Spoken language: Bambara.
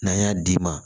N'an y'a d'i ma